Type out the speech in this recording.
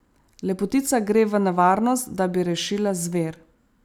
Lepotica gre v nevarnost, da bi rešila zver.